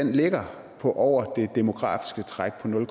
ligger på over det demografiske træk på nul